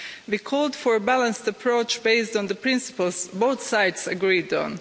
We called for a balanced approach, based on the principles both sides agreed on.